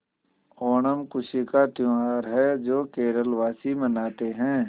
ओणम खुशी का त्यौहार है जो केरल वासी मनाते हैं